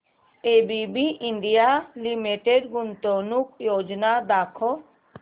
ABB India Limited गुंतवणूक योजना दाखव